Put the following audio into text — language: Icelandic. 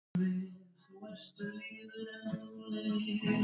Og það var auðvitað engin ástæða til að vera svona afundin við hana.